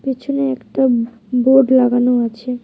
পিছনে একটা বো-বোর্ড লাগানো আছে.